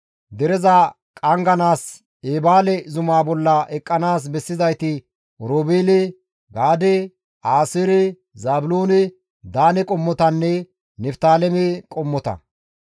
Dereza qangganaas Eebaale zumaa bolla eqqanaas bessizayti Oroobeele, Gaade, Aaseere, Zaabiloone, Daane qommotanne Niftaaleme qommota.»